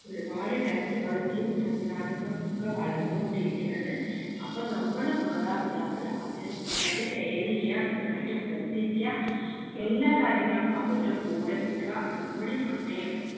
ഒരുപാട് technology യും സംവിധാനങ്ങളും ഒക്കെ വളർന്നു കൊണ്ടിരിക്കയാണ് അപ്പം നമ്മള് മാതാപിതാള് അവരെ നന്നായിട്ട് care എയ്യാ നന്നായിട്ട് ശ്രദ്ധിക്കാ എല്ലാ കാര്യങ്ങൾക്കും അവർടെ കൂടെ നിക്കാ നമ്മടെ സമയം